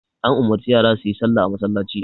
An umarci yasa suyi salla a masallaci.